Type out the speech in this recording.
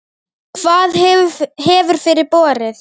Hvað hefur fyrir borið?